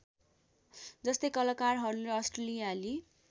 जस्तै कलाकारहरूले अस्ट्रेलियाली